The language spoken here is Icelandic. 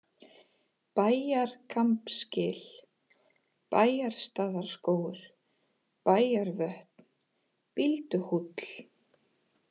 Bæjarkambsgil, Bæjarstaðarskógur, Bæjarvötn, Bílduhóll